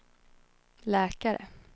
läkare